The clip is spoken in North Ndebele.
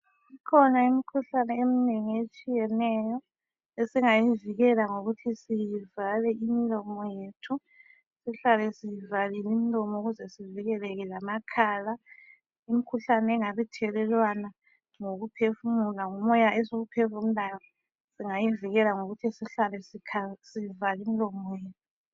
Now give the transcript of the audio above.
Ikhona imikhuhlane eminengi etshiyeneyo esingayivikela ngokuthi sivale imilomo yethu sihlale sivalile imlomo ukuze sivikeleke amakhala. Imikhuhlane engabe ithelelwana ngokuphefumula, ngumoya esiwuphefumulayo singayivikela ngokuthi sihlale sivale imilomo yethu.